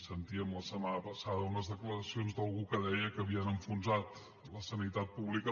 sentíem la setmana passada unes declaracions d’algú que deia que havien enfonsat la sanitat pública